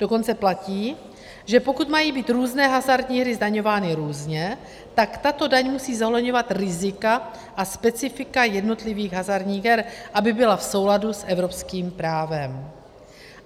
Dokonce platí, že pokud mají být různé hazardní hry zdaňovány různě, tak tato daň musí zohledňovat rizika a specifika jednotlivých hazardních her, aby byla v souladu s evropskými právem.